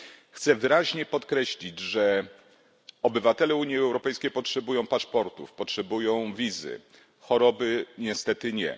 Chcę wyraźnie podkreślić, że obywatele Unii Europejskiej potrzebują paszportów i wiz, choroby niestety nie.